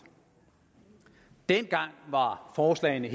dengang var forslagene